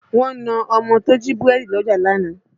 Wọ́n na ọmọ tó jí búrẹ́dì lọ́jà lánàá